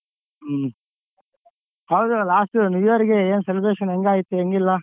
ಹ್ಮ್ ಹೌದು last new year ಗೆ ಏನ್ celebration ಹೆಂಗೈತು ಹೆಂಗ್ ಇಲ್ಲ?